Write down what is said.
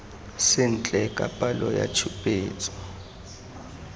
sentle ka palo ya tshupetso